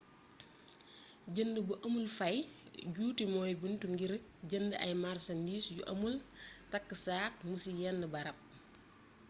jënd bu amul fay juuti mooy bunt ngir jënd ay marsandiis yu amul taks aak mo ci yenn barab